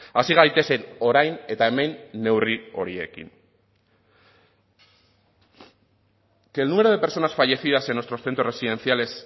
hasi gaitezen orain eta hemen neurri horiekin que el número de personas fallecidas en nuestros centros residenciales